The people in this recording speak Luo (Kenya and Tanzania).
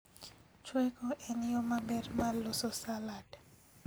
Chweko en yoo maber mar loso salad